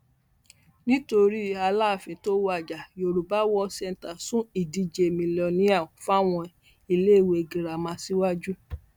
nítorí aláàfin tó wájà yorùbá world centre sún ìdíje mílíọnìá fáwọn iléèwé girama síwájú